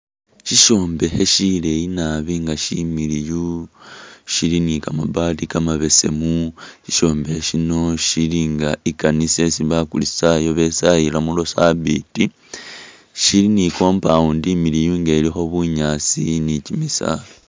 Sishombekhe shileyi naabi ga shimiliyu, shili ni kamabati kamabesemu, i'shombekhe shino shili ga i'kanisa isi bakristayo besayilamo lwasabiti, shili ni compound imiliyu ga ilikho bunyaasi ni kimisaala